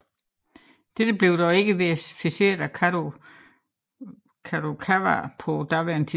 Dette blev dog ikke verificeret af Kadokawa på daværende tidspunkt